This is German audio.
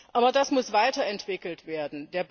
Aber das muss weiterentwickelt werden.